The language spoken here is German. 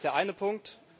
Das ist der eine Punkt.